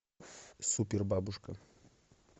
супер бабушка